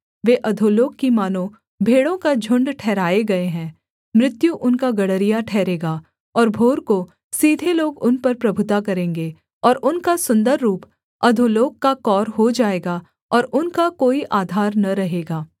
वे अधोलोक की मानो भेड़ों का झुण्ड ठहराए गए हैं मृत्यु उनका गड़रिया ठहरेगा और भोर को सीधे लोग उन पर प्रभुता करेंगे और उनका सुन्दर रूप अधोलोक का कौर हो जाएगा और उनका कोई आधार न रहेगा